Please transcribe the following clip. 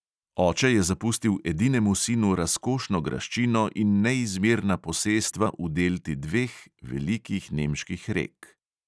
Oče je zapustil edinemu sinu razkošno graščino in neizmerna posestva v delti dveh velikih nemških rek.